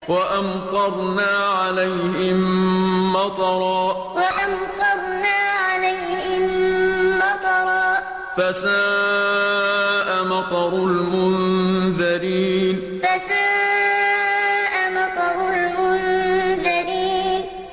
وَأَمْطَرْنَا عَلَيْهِم مَّطَرًا ۖ فَسَاءَ مَطَرُ الْمُنذَرِينَ وَأَمْطَرْنَا عَلَيْهِم مَّطَرًا ۖ فَسَاءَ مَطَرُ الْمُنذَرِينَ